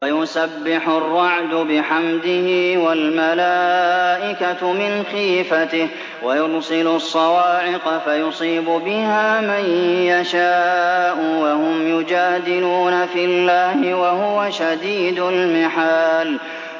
وَيُسَبِّحُ الرَّعْدُ بِحَمْدِهِ وَالْمَلَائِكَةُ مِنْ خِيفَتِهِ وَيُرْسِلُ الصَّوَاعِقَ فَيُصِيبُ بِهَا مَن يَشَاءُ وَهُمْ يُجَادِلُونَ فِي اللَّهِ وَهُوَ شَدِيدُ الْمِحَالِ